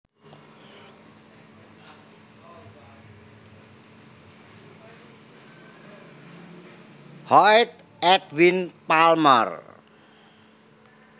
Hoyt Edwin Palmer